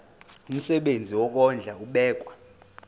umsebenzi wokondla ubekwa